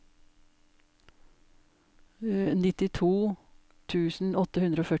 nittito tusen åtte hundre og førti